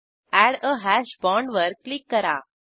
add a hash bond वर click करा